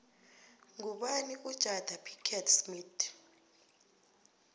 ngubani ujada pickett smith